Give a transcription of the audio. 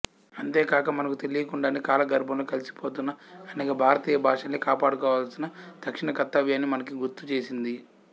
అంతేకాక మనకు తెలియకుండానే కాలగర్భంలో కలిసిపోతున్న అనేక భారతీయ భాషల్ని కాపాడుకోవాల్సిన తక్షణ కర్తవ్యాన్ని మనకి గుర్తు చేసింది